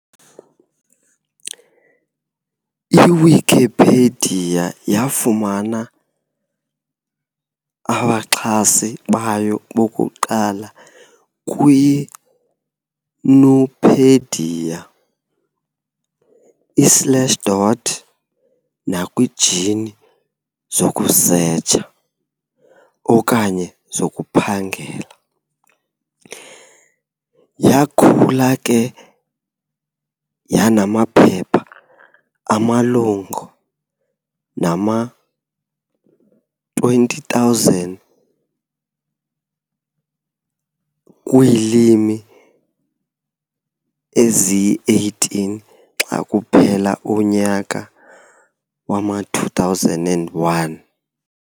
I-Wikipedia yafumana amaxhasi bayo bokuqala kwiNupedia, i-Slashdot, nakwiijini zokusetsha okanye zokukhangela. Yaakhula ke de yanamaphepha amalunga nama-20, 000, kwiilimi ezili-18 xa kuphela umnyaka wama-2001.